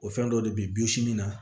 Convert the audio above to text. O fɛn dɔ de be yen bi sini na